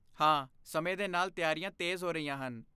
ਹਾਂ, ਸਮੇਂ ਦੇ ਨਾਲ ਤਿਆਰੀਆਂ ਤੇਜ਼ ਹੋ ਰਹੀਆਂ ਹਨ।